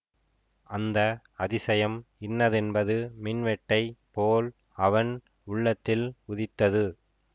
அந்த அதிசயம் இன்னதென்பது மின்வெட்டைப் போல் அவன் உள்ளத்தில் உதித்தது